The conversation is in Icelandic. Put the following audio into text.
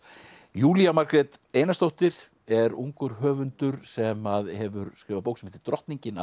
Júlía Margrét Einarsdóttir er ungur höfundur sem hefur skrifað bók sem heitir drottningin